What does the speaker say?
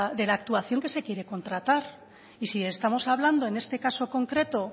de la actuación que se quiere contratar y si estamos hablando en este caso concreto